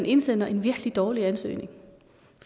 indsender en virkelig dårlig ansøgning